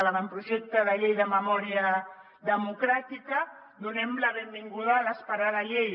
l’avantprojecte de llei de memòria democràtica donem la benvinguda a l’esperada llei